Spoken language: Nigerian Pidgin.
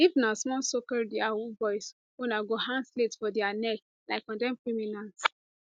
if na small socalled yahoo boys una go hang slate for dia neck like condemned criminals